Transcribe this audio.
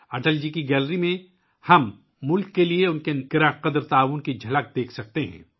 اٹل جی کی گیلری میں، ہم ملک کے لیے ، ان کی گرانقدر شراکت کی جھلک دیکھ سکتے ہیں